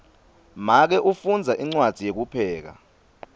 make ufundza incwadzi yekupheka